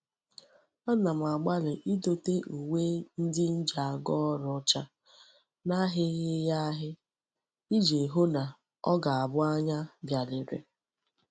Ana m agbali idote uwe ndi ji aga órú ocha, n'ahighi ya ahi, Iji hu na o ga -abu anya bia lere